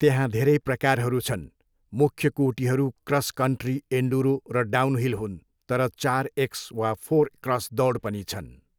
त्यहाँ धेरै प्रकारहरू छन्, मुख्य कोटीहरू क्रस कन्ट्री, एन्डुरो, र डाउनहिल हुन् तर चार एक्स वा फोर क्रस दौड पनि छन्।